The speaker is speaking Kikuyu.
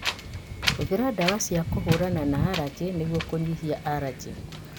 Hũthĩra ndawa cia kũhũrana na arajĩ nĩguo kũnyihia arajĩ